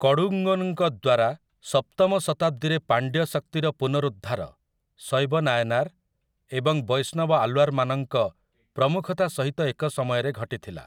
କଡୁଙ୍ଗୋନ୍‌ଙ୍କ ଦ୍ୱାରା ସପ୍ତମ ଶତାବ୍ଦୀରେ ପାଣ୍ଡ୍ୟ ଶକ୍ତିର ପୁନରୁଦ୍ଧାର ଶୈବ ନାୟନାର୍ ଏବଂ ବୈଷ୍ଣବ ଆଲ୍ୱାର୍ମାନଙ୍କ ପ୍ରମୁଖତା ସହିତ ଏକ ସମୟରେ ଘଟିଥିଲା ।